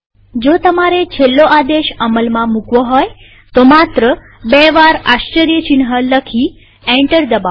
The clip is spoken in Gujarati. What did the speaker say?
જો તમારે છેલ્લો આદેશ અમલમાં મુકવો હોય તો માત્ર બે વાર આશ્ચર્યચિહ્ન લખી એન્ટર દબાવો